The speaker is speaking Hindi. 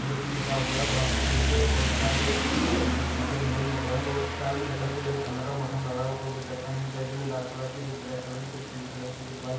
इंग्लिश में लिखा हुआ है वहाँ पर कुछ बहुत सारे मतलब मेल दिख रहै है स्टाईल में दिख रहे है कुछ ठंड का मौसम लग रहा है ऊपर में जैकिट भी पहने हुए कुछ लाल कलर के कुछ ब्लैक कलर के कुछ पीले कलर के कुछ व्हाइट --